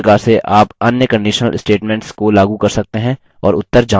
हमें उत्तर false मिलता है